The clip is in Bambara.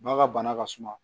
Ba ka bana ka suma